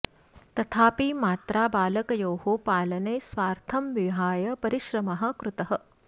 तथापि मात्रा बालकयोः पालने स्वार्थं विहाय परिश्रमः कृतः